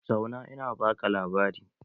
Zauna in baka labari!